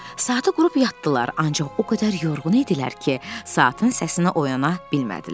Saatı qurub yatdılar, ancaq o qədər yorğun idilər ki, saatın səsinə oyana bilmədilər.